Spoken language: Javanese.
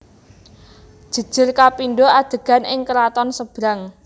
Jejer kapindo adegan ing keraton Sebrang